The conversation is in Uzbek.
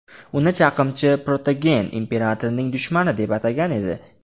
Uni chaqimchi Protogen imperatorning dushmani deb atagan edi.